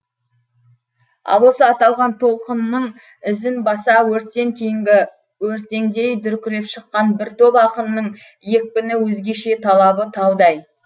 ал осы аталған толқынның ізін баса өрттен кейінгі өртеңдей дүркіреп шыққан бір топ ақынның екпіні өзгеше талабы таудай